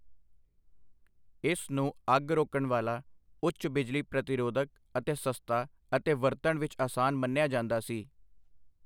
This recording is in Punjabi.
ਇਸ ਨੂੰ ਅੱਗ ਰੋਕਣ ਵਾਲਾ, ਉੱਚ ਬਿਜਲੀ ਪ੍ਰਤੀਰੋਧਕ ਅਤੇ ਸਸਤਾ ਅਤੇ ਵਰਤਣ ਵਿੱਚ ਅਸਾਨ ਮੰਨਿਆ ਜਾਂਦਾ ਸੀ।